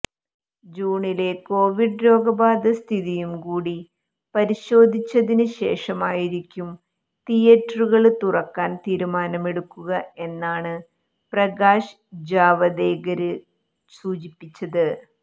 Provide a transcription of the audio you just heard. ജൂണിലെ covid രോഗബാധ സ്ഥിതിയും കൂടി പരിശോധിച്ചതിന് ശേഷമായിരിക്കും തിയറ്ററുകള് തുറക്കാൻ തീരുമാനമെടുക്കുക എന്നാണ് പ്രകാശ് ജാവദേകര് സൂചിപ്പിച്ചത്